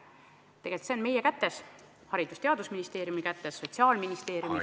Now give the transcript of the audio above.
Tegelikult oleneb see meist, oleneb Haridus- ja Teadusministeeriumist ning Sotsiaalministeeriumist.